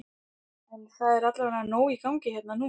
En það er allavega nóg í gangi hérna núna?